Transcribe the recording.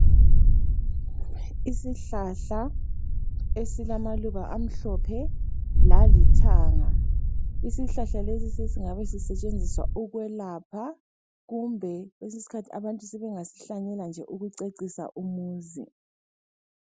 Isihlahla esilamaluba amhlophe lalithanga. Isihlahla lesi sesingabe sisetshenziswa ukwelapha, kumbe kwesinye isikhathi abantu sebengasihlanyela nje ukucecisa umuzi.